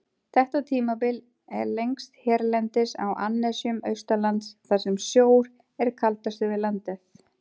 Þetta tímabil er lengst hérlendis á annesjum austanlands, þar sem sjór er kaldastur við landið.